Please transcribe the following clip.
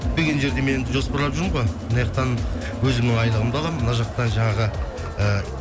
күтпеген жерден мен енді жоспарланып жүрмін ғой мынаяқтан өзімнің айлығымды аламын мына жақтан жаңағы ы